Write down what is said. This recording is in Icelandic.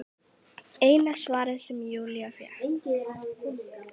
Eina svarið sem Júlía fékk.